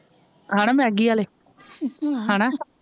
ਹਣਾ ਮੈਗੀ ਆਲੇ ਹਣਾ,